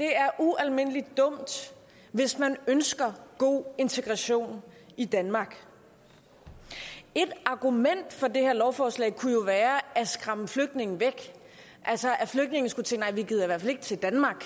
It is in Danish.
er ualmindelig dumt hvis man ønsker god integration i danmark et argument for det her lovforslag kunne være at skræmme flygtninge væk altså at flygtninge skulle sige nej vi gider i hvert fald ikke til danmark